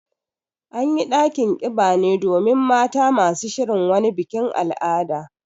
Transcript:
An yi ɗakin ƙiba ne domin mata masu shirin wani bikin al'ada.